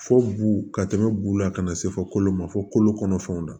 Fo bu ka tɛmɛ b'u la ka na se fɔ kolon ma fɔ kolo kɔnɔfɛnw na